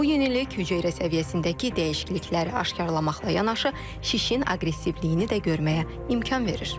Bu yenilik hüceyrə səviyyəsindəki dəyişiklikləri aşkarlamaqla yanaşı, şişin aqressivliyini də görməyə imkan verir.